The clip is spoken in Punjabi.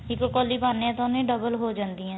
ਇੱਕ ਕੋਲੀ ਪਾਨੇ ਆ ਤਾਂ ਉਨੇ double ਹੋ ਜਾਂਦੀਆ ਨੇ